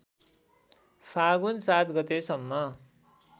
फाल्गुन ७ गतेसम्म